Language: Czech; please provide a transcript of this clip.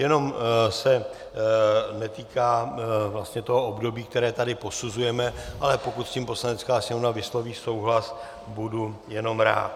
Jenom se netýká vlastně toho období, které tady posuzujeme, ale pokud s tím Poslanecká sněmovna vysloví souhlas, budu jenom rád.